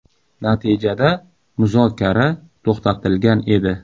Natijada muzokara to‘xtatilgan edi.